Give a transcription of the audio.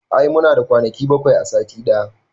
I muna da kwanaki bakwai a sati ɗaya